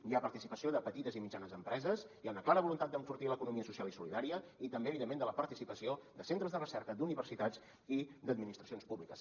hi ha participació de petites i mitjanes empreses hi ha una clara voluntat d’enfortir l’economia social i solidària i també evidentment de la participació de centres de recerca d’universitats i d’administracions públiques